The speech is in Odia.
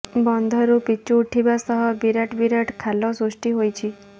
ବନ୍ଧରୁ ପିଚୁ ଉଠିବା ସହ ବିରାଟ ବିରାଟ ଖାଲ ସୃଷ୍ଟି ହୋଇଛି